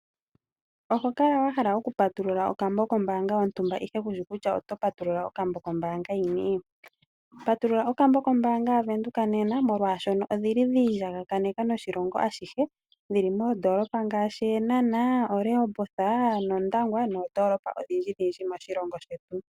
Oho kala wahala okupatulula okambo kombaanga ndele kushi kutya oto patulula okambo kombaanga yini. Patulula okambo kombaanga yaVenduka nena molwashoka odhili dhiilyangakaneka noshilongo ashihe dhili moondolopa ngaashi Eenhana, Oshikango nondangwa noondolopa odhindjindji moshilongo shetu.